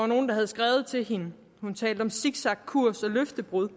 nogen havde skrevet til hende hun talte om zigzagkurs og løftebrud